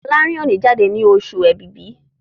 Folarin o ní jáde ní Oṣù Ẹ̀bìbì